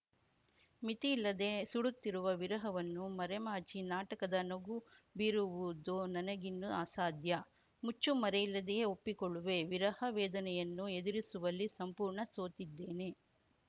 ಮಿತಿ ಇಲ್ಲದೇ ಸುಡುತ್ತಿರುವ ವಿರಹವನ್ನು ಮರೆಮಾಚಿ ನಾಟಕದ ನಗು ಬೀರುವುದು ನನಗಿನ್ನು ಅಸಾಧ್ಯ ಮುಚ್ಚು ಮರೆಯಿಲ್ಲದೆಯೇ ಒಪ್ಪಿಕೊಳ್ಳುವೆ ವಿರಹ ವೇದನೆಯನ್ನು ಎದುರಿಸುವಲ್ಲಿ ಸಂಪೂರ್ಣ ಸೋತಿದ್ದೇನೆ